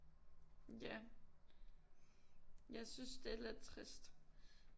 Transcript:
Ja jeg synes det er lidt trist